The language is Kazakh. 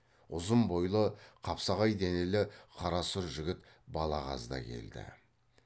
ұзын бойлы қапсағай денелі қарасұр жігіт балағаз да келді